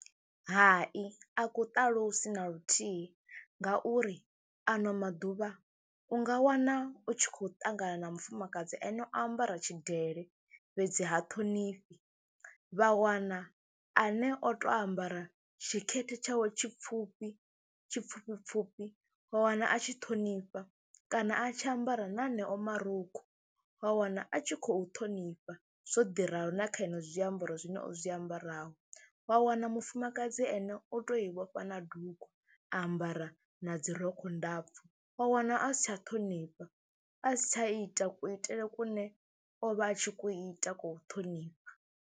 Hai a ku ṱalusi na luthihi ngauri ano maḓuvha u nga wana u tshi khou ṱangana na mufumakadzi ane o ambara tshidele fhedzi ha thonifhi, vha wana ane o tou ambara tshikete tshawe tshipfhufhi tshipfufhipfufhi wa wana a tshi ṱhonifha kana a tshi ambara na eneo marukhu wa wana a tshi khou ṱhonifha. Zwo ḓi ralo na kha ino zwiambaro zwine o zwi ambaraho wa wana mufumakadzi ane o tou i vhofha na dugu, a ambara na dzi rokho ndapfhu wa wana a si tsha ṱhonifha a si tsha ita kuitele kune o vha a tshi ku ita ko u ṱhonifha.